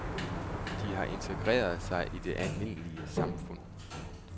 De har intergreret sig i det almindelige samfund.